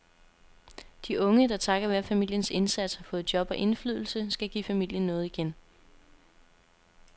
De unge, der takket være familiens indsats har fået job og indflydelse, skal give familien noget igen.